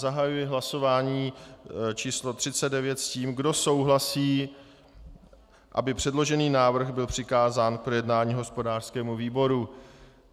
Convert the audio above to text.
Zahajuji hlasování číslo 39 s tím, kdo souhlasí, aby předložený návrh byl přikázán k projednání hospodářskému výboru.